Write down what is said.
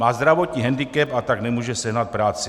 Má zdravotní hendikep, a tak nemůže sehnat práci.